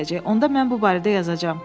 Onda mən bu barədə yazacam.